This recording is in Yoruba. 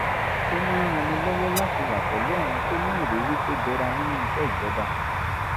ó máa ń ranni lọ́wọ́ láti wà pẹ̀lú àwọn tó ní ìrírí tó jọra nínú iṣẹ́ ìjọba